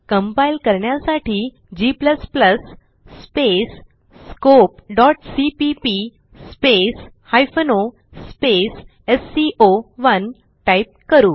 compile करण्यासाठी g scopeसीपीपी o एससीओ1 टाईप करू